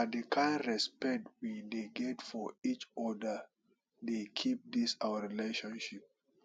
na di kind respect wey we get for eachoda dey keep dis our friendship